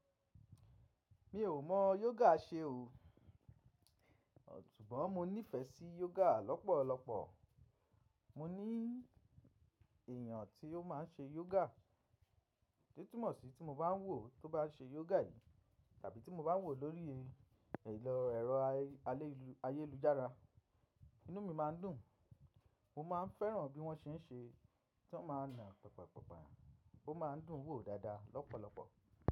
Mi ò mọ yoga ṣe o, ṣùgbọ́n mo nífẹ̀ sí yoga lọ́pọ̀lọpọ̀. Mo ní èyàn tí ó má n ṣe yoga, tí túmọ̀ sí tí mo bá wò ó tó bá n ṣe yoga yìí tàbí tí mo bá wò ó lórí ero ayélujára, inú mi má n dùn. Mo má a n fẹ́ràn bí wọ́n ṣe ń ṣe, tí wọ́n ma na pọ̀pọ̀pọ̀pọ̀, ó ma n dùn wò dáadáa lọ́pọ̀lọpọ̀